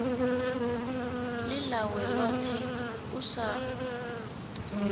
ḽi ḽawe ḽoṱhe u sa